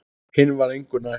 Hinn var engu nær.